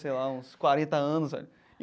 Sei lá, uns quarenta anos.